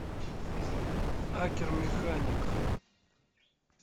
акер механик